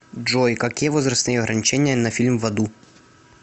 джой какие возрастные ограничения на фильм в аду